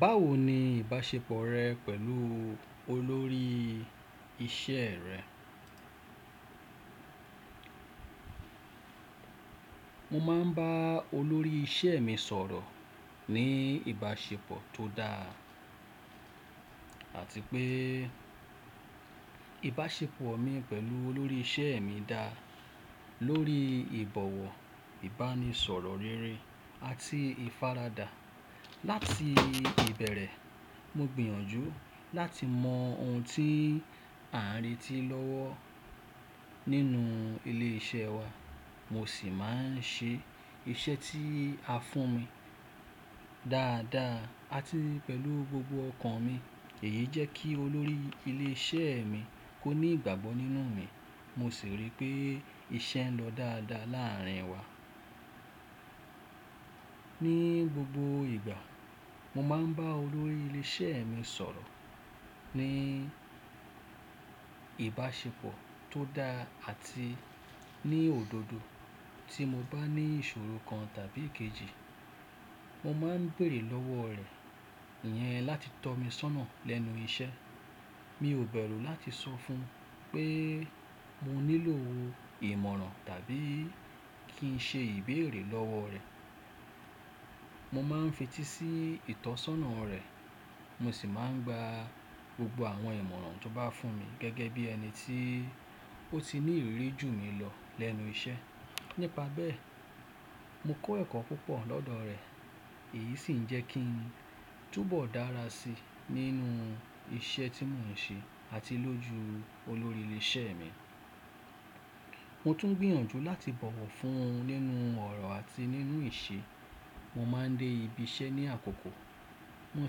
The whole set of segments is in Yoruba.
Báwo ni ìbáṣepọ̀ rẹ pẹ̀lú olórí ìṣe rẹ? Mo máa ń bá olórí ìṣe mi sọ̀rọ̀ ní ìbáṣepọ̀ tó dáa àti pé ìbáṣepọ̀ mi pẹ̀lú olórí ìṣe mi dá lórí ìbọ̀wọ̀, ìbánisọ̀rọ̀ rere àti ìfaradà. Láti ìbẹ̀rẹ̀, mo gbìyànjú láti mọ ohun tí à ń retí lọ́wọ́ nínú ilé iṣẹ́ wa. Mo sì máa ń ṣe iṣẹ́ tí a fún mi dáadáa àti pẹ̀lú gbogbo ọkàn mi. Èyí jẹ́ kí olórí ilé iṣẹ́ mi kó ní ìgbàgbọ́ nínú mi. Mo sì rí pé iṣẹ́ ń lọ dáadáa láàárín wa. Ni gbogbo ìgbà, mo máa ń bá olórí ilé iṣẹ́ mi sọ̀rọ̀ ní ìbáṣepọ̀ tó dáa àti ní òdodo. Tí mo bá ní ìṣòro kan tàbí kejì, mo máa ń bèerè lọ́wọ́ rẹ̀ iyẹn láti tọ́ mi sọ́nà lẹ́nu iṣẹ́. Mi ò bẹ̀rù láti sọ fún un pé mo nílò ìmoran tàbí kí n ṣe ìbéèrè lọ́wọ́ rẹ̀. Mo máa ń fetí sí ìtọ́sọ́nà rẹ̀, mo sì máa ń gba gbogbo àwọn ìmọ̀ràn tó bá fún mi gẹ́gẹ́ bí ẹni tí ó ti ní ìrírí jù mí lọ lẹ́nu iṣẹ́. Nípa bẹ́ẹ̀, mo kọ́ ẹ̀kọ́ púpọ̀ lọ́dọ̀ rẹ̀. Èyí sì ń jẹ́ kí n túbọ̀ dára sí i nínú iṣẹ́ tí mò ń ṣe àti lójú olórí ilé iṣẹ́ mi. Mo tún gbìyànjú láti bọ̀wọ̀ fún un nínú ọ̀rọ̀ àti nínú ìṣe. Mo máa ń dé ibi iṣẹ́ ní àkókò, mo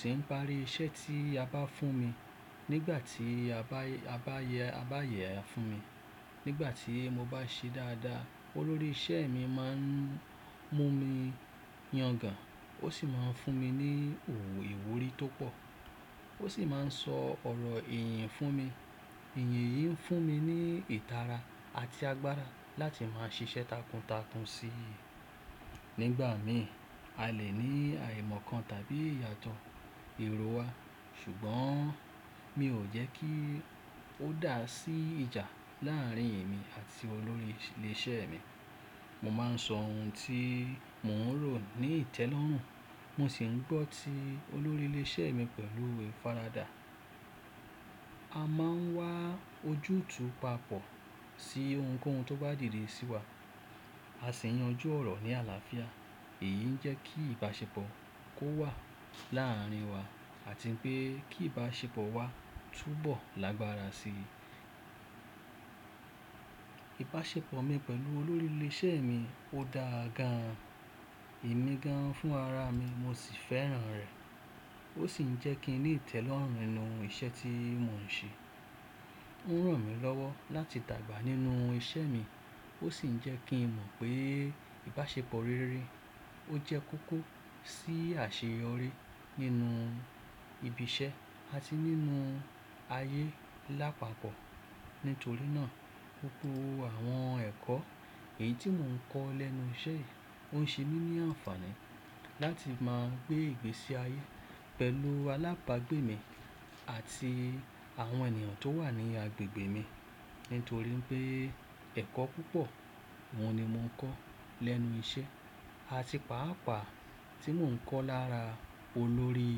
sì ń parí iṣẹ́ tí a bá fún mi nígbà tí a bá yẹ ẹ fún mi. Nígbà tí mo bá ṣe dáadáa, olórí ìṣe mi máa ń mú mi yangàn, ó sì máa ń fún mi ní òwò ìwúrí tó pọ̀. Ó sì máa ń sọ ọ̀rọ̀ ìyìn fún mi. Ìyìn yìí ń fún mi ní ìtara àti agbára láti máa ṣiṣẹ́ takuntakun sí í. Nígbà mi, a lè ní àìmọ̀ kan tàbí ìyàtọ̀ eròwá ṣùgbọ́n mi ò jẹ́ kí ó dà sí ìjà láàárín èmi àti olórí ilé iṣẹ́ mi. Mo máa ń sọ ohun tí mò ń rò ní ìtẹ́lọ́rùn, mo sì ń gbọ́ tí olórí ilé iṣẹ́ mi pẹ̀lú ìfaradà. A máa ń wá ojútùú papọ̀ sí ohunkóhun tó bá dìde sí wa. A sì ń yanjú ọ̀rọ̀ ní àlàáfíà. Èyí ń jẹ́ kí ìbáṣepọ̀ kó wà láàárín wa àti pé kí ìbáṣepọ̀ wa túbọ̀ lágbára síi. Ìbáṣepọ̀ mi pẹ̀lú olórí ilé iṣẹ́ mi ò dáa gan, emi gan fún ara mi, mo sì fẹ́ràn rẹ̀. Ó sì ń jẹ́ kí n ní ìtẹ́lọ́rùn nínú iṣẹ́ tí mò ń ṣe. Óun ràn mí lọ́wọ́ láti dàgbà nínú iṣẹ́ mi, ó sì ń jẹ́ kí n mọ̀ pé ìbáṣepọ̀ rere ó jẹ́ kókó sí àṣeyọrí nínú ibi iṣẹ́ àti nínú ayé lápapọ̀. Nítorí náà, gbogbo àwọn ẹ̀kọ́ èyí tí mò ń kọ́ lẹ́nu iṣẹ́ yìí ó ń ṣe mí ní àǹfààní láti máa gbé ìgbésí ayé pẹ̀lú alábagbé mi àti àwọn ènìyàn tó wà ní agbègbè mi. Nítorí pé ẹ̀kọ́ púpọ̀ oun ni mò ń kọ́ lẹ́nu iṣẹ́ àti pàápàá tí mò ń kọ́ lára olórí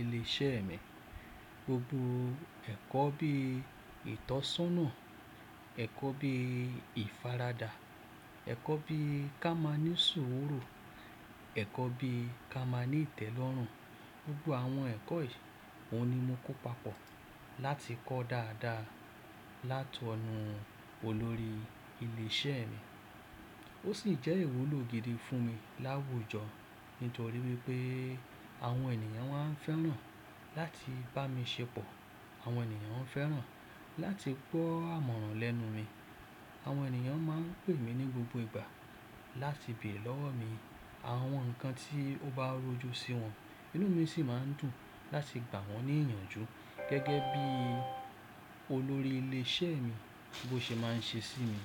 ilé iṣẹ́ mi. Gbogbo ẹ̀kọ́ bí ìtọ́sọ́nà, ẹ̀kọ́ bí ìfaradà, ẹ̀kọ́ bí ka máa ní sùúrù, ẹ̀kọ́ bí ka máa ní ìtẹ́lọ́rùn, gbogbo àwọn ẹ̀kọ́ yìí oun ni mo kó papọ̀ láti kọ́ dáadáa látọ̀nú olórí ilé iṣẹ́ mi. Ó sì jẹ́ ìwúlò gidi fún mi láwùjọ nítorí wípé àwọn ènìyàn wáa ń fẹ́ràn láti bá mi ṣepọ̀. Àwọn ènìyàn fẹ́ràn láti gbọ́ amọ̀ràn lẹ́nu mi. Àwọn ènìyàn máa ń pè mí ní gbogbo ìgbà láti béèrè lọ́wọ́ mi àwọn nǹkan tí ó bá rojú sí wọn. Inú mi sì máa ń dùn láti gbà wọ́n ní ìyànjú gẹ́gẹ́ bí olórí ilé iṣẹ́ mi bó ṣe máa ń ṣe sí mi.